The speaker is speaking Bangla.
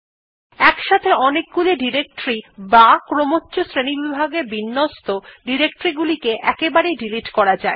একসাথে অনেকগুলি ডিরেক্টরী বা ক্রমচ্ছ শ্রেণীবিভাগে বিন্যস্ত ডিরেক্টরী গুলিকে একবারেই ডিলিট করা যায়